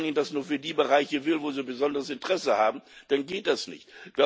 Wenn Großbritannien das nur für die Bereiche will, wo es besonderes Interesse hat, dann geht das nicht.